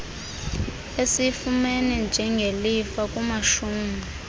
esiyifumene njengelifa kumashumi